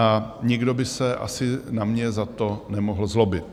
A nikdo by se asi na mě za to nemohl zlobit.